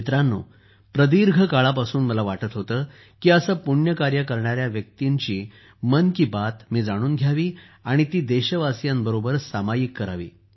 मित्रांनो प्रदीर्घ काळापासून मला वाटत होतं की असं पुण्य कार्य करणाऱ्या व्यक्तींच्या मन की बात मी जाणून घ्यावी आणि ती देशवासियांबरोबर सामायिक करावी